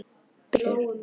Biður hann að hjálpa sér.